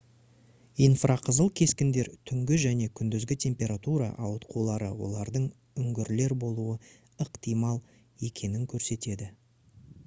инфрақызыл кескіндер түнгі және күндізгі температура ауытқулары олардың үңгірлер болуы ықтимал екенін көрсетеді